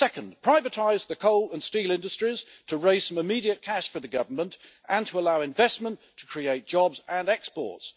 Second, privatise the coal and steel industries to raise some immediate cash for the Government and allow investment to create jobs and exports.